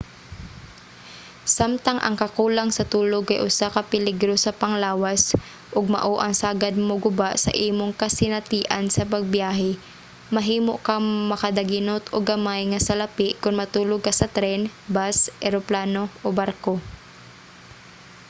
samtang ang kakulang sa tulog kay usa ka peligro sa panglawas ug mao ang sagad moguba sa imong kasinatian sa pagbiyahe mahimo kang makadaginot og gamay nga salapi kon matulog ka sa tren bus eroplano o barko